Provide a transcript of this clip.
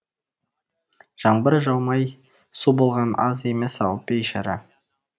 жаңбыр жаумай су болғаназ емес ау бейшара